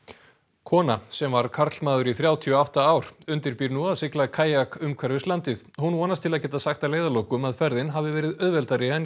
kona sem var karlmaður í þrjátíu og átta ár undirbýr nú að sigla kajak umhverfis landið hún vonast til að geta sagt að leiðarlokum að ferðin hafi verið auðveldari en